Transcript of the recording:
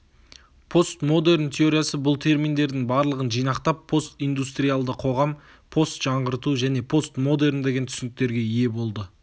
постмодерн теориясы бұл терминдердің барлығын жинақтап постиндустриалды қоғам постжаңғырту және постмодерн деген түсініктерге ие болды